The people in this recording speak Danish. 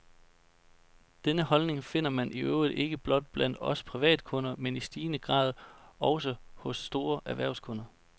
Denne holdning finder man i øvrigt ikke blot blandt os privatkunder, men i stigende grad også hos store erhvervskunder.